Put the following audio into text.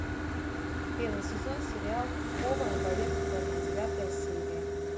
первый сезон сериал повар боец сома девятая серия